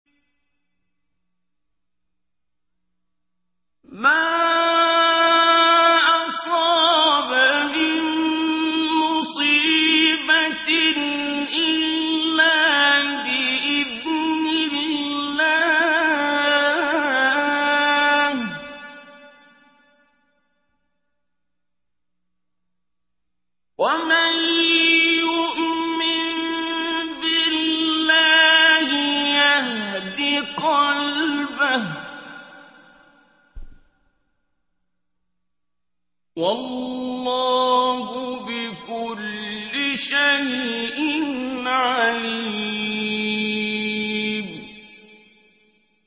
مَا أَصَابَ مِن مُّصِيبَةٍ إِلَّا بِإِذْنِ اللَّهِ ۗ وَمَن يُؤْمِن بِاللَّهِ يَهْدِ قَلْبَهُ ۚ وَاللَّهُ بِكُلِّ شَيْءٍ عَلِيمٌ